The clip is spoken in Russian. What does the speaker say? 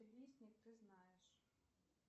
лесник ты знаешь